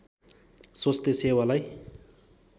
स्वास्थ्य सेवालाई